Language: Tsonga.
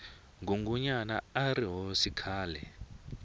ngungunyana arihhosi khale